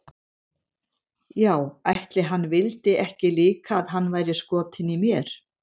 Já ætli hann vildi ekki líka að hann væri skotinn í mér.